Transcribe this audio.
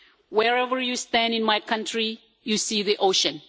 Wherever you stand in my country you see the ocean.